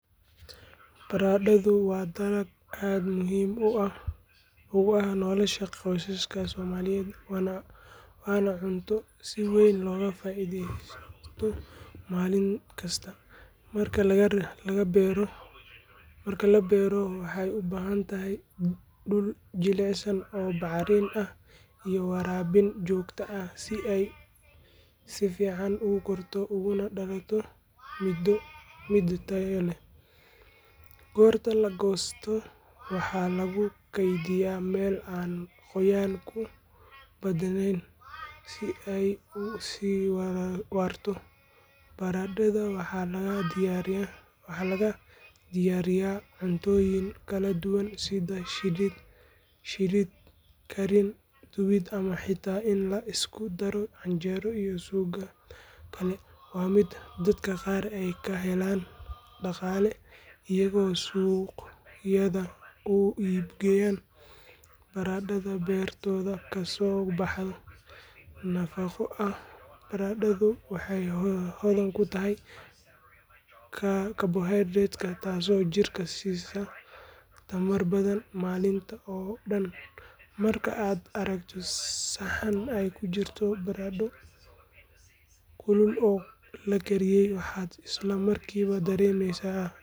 Baradhadu waa dalag aad muhiim ugu ah nolosha qoysaska Soomaaliyeed waana cunto si weyn looga faa’iidaysto maalin kasta. Marka la beero waxay u baahan tahay dhul jilicsan oo bacrin ah iyo waraabin joogto ah si ay si fiican u korto ugana dhalato midho tayo leh. Goorta la goosto waxaa lagu kaydiyaa meel aan qoyaanku ku badanayn si ay u sii waarato. Baradhada waxaa laga diyaariyaa cuntooyin kala duwan sida shiilid, kariin, dubid ama xitaa in la isku daro canjeero iyo suugada kale. Waa mid dadka qaar ay ka helaan dhaqaale iyagoo suuqyada u iib geynaya baradhada beertooda kasoo baxday. Nafaqo ahaan baradhadu waxay hodan ku tahay karbohaydraytyo taasoo jirka siisa tamar badan maalintii oo dhan. Marka aad aragto saxan ay ku jirto baradho kulul oo la kariyey, waxaad isla markiiba dareemaysaa.